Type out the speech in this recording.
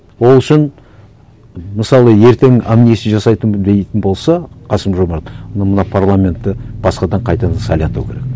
ол үшін мысалы ертең амнистия жасайтын дейтін болса қасым жомарт онда мына парламентті басқадан қайтадан сайлату керек